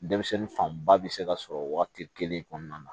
Denmisɛnnin fanba bɛ se ka sɔrɔ waati kelen kɔnɔna na